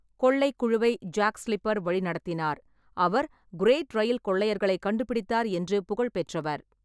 கொள்ளைக் குழுவை Jack Slipper வழிநடத்தினார், அவர் கிரேட் ரயில் கொள்ளையர்களைக் கண்டுபிடித்தார் என்று புகழ் பெற்றவர்.